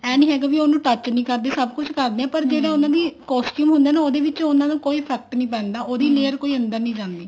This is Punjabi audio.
ਏਵੇਂ ਨੀ ਹੈਗਾ ਵ੍ਵੀ ਉਹਨੂੰ touch ਨੀ ਕਰਦੇ ਸਭ ਕੁੱਝ ਕਰਦੇ ਆ ਪਰ ਜਿਹੜਾ ਉਹਨਾ ਦੀ costume ਹੁੰਦਾ ਨਾ ਉਹਦੇ ਵਿੱਚ ਉਹਨਾ ਨੂੰ ਕੋਈ effect ਨੀ layer ਕੋਈ ਅੰਦਰ ਨੀ ਜਾਂਦੀ